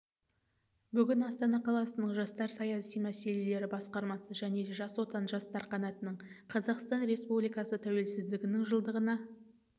бүгін астана қаласының жастар саясаты мәселелері басқармасы және жас отан жастар қанатының қазақстан республикасы тәуелсіздігінің жылдығына